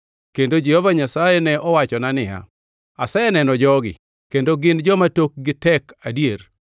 Kendo Jehova Nyasaye ne owachona niya, “Aseneno jogi, kendo gin joma tokgi tek adier!